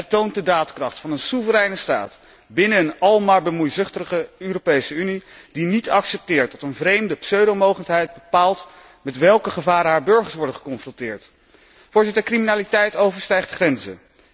Het toont de daadkracht van een soevereine staat binnen een al maar bemoeizuchtiger Europese Unie die niet accepteert dat een vreemde pseudo mogendheid bepaalt met welke gevaren haar burgers worden geconfronteerd. Criminaliteit overstijgt grenzen.